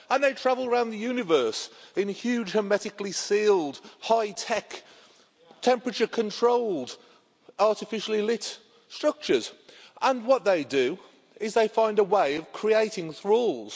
And they travel around the universe in huge hermetically-sealed, hi-tech, temperature-controlled, artificially-lit structures and what they do is they find a way of creating thralls.